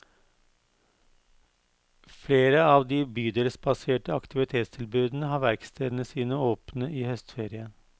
Flere av de bydelsbaserte aktivitetstilbudene har verkstedene sine åpne i høstferien.